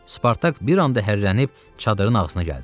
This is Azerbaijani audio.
Spartak bir an da hərrənib çadırın ağzına gəldi.